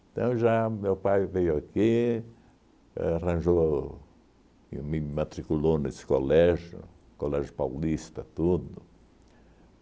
Então, já meu pai veio aqui, arranjou e me matriculou nesse colégio, colégio paulista, tudo.